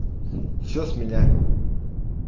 всё с меня